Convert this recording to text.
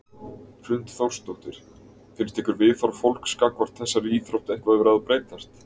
Hrund Þórsdóttir: Finnst ykkur viðhorf fólks gagnvart þessari íþrótt eitthvað vera að breytast?